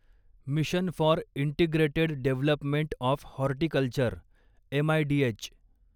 mission for integrated development of horticulture M I D H